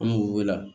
An b'u wele